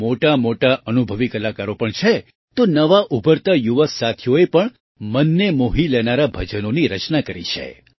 તેમાં મોટામોટા અનુભવી કલાકારો પણ છે તો નવા ઉભરતા યુવા સાથીઓએ પણ મનને મોહી લેનારાં ભજનોની રચના કરી છે